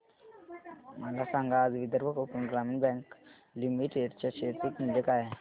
मला सांगा आज विदर्भ कोकण ग्रामीण बँक लिमिटेड च्या शेअर चे मूल्य काय आहे